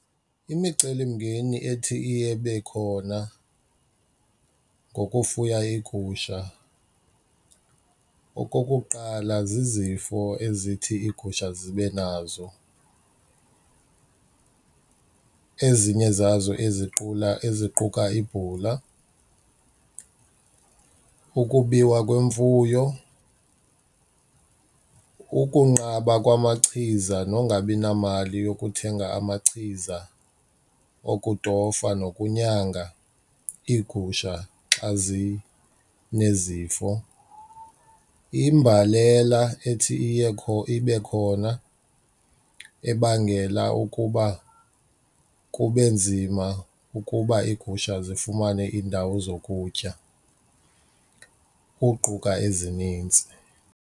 Imicelimngeni ethi iye ibe khona ngokufuya iigusha, okokuqala, zizifo ezithi iigusha zibe nazo ezinye zazo eziqula eziquka ibhula. Ukubiwa kwemfuyo, ukunqaba kwamachiza nongabi namali yokuthenga amachiza okutofa nokunyanga iigusha xa zinezifo, imbalela ethi ibe khona ebangela ukuba kube nzima ukuba iigusha zifumane iindawo zokutya, ukuquka ezinintsi.